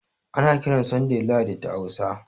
Ana kiran Sanday Lahadi da Hausa